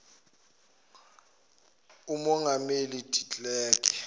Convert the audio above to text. umongameli de klerk